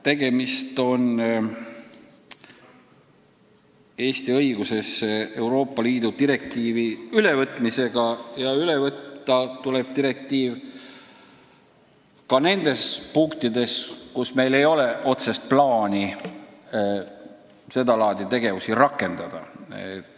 Tegemist on Eesti õigusesse Euroopa Liidu direktiivi ülevõtmisega ja üle võtta tuleb ka direktiivi need punktid, mis puudutavad sedalaadi tegevusi, mida meil ei ole plaanis lähiajal arendada.